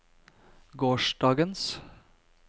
gårsdagens